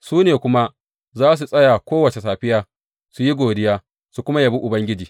Su ne kuma za su tsaya kowace safiya su yi godiya, su kuma yabi Ubangiji.